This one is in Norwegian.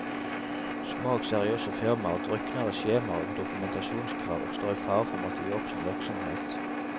Små og seriøse firmaer drukner i skjemaer og dokumentasjonskrav, og står i fare for å måtte gi opp sin virksomhet.